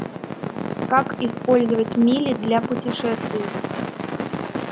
как использовать мили для путешествий